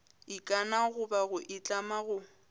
ikana goba go itlama go